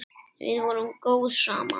Við vorum góð saman.